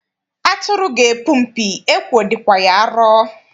Atụrụ ga-epu mpi, ekwo dịkwa ya arọ.